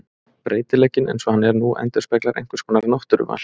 Breytileikinn eins og hann er nú endurspeglar einhvers konar náttúruval.